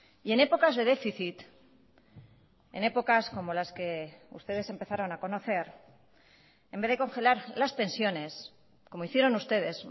y en épocas de déficit en épocas como las que ustedes empezaron a conocer en vez de congelar las pensiones como hicieron ustedes